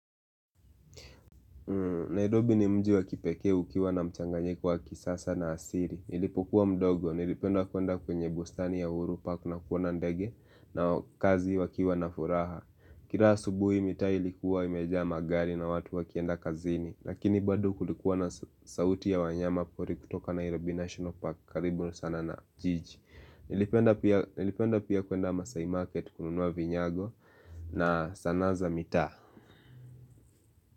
Nairobi ni mji wa kipeke ukiwa na mchanganyiko wa kisasa na asiri. Nilipokuwa mdogo, nilipenda kuenda kwenye bustani ya uhuru park na kuona ndege na kazi wakiwa na furaha. Kira subuhi mitaa ilikuwa imejaa magari na watu wakienda kazini. Lakini bado kulikuwa na sauti ya wanyama pori kutoka Nairobi National Park karibu sana na jiji. Nilipenda pia kuenda Masai Market kununua vinyago na sana za mitaa.